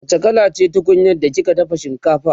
wacce kala ce tunkunyar da kika dafa shinkafa?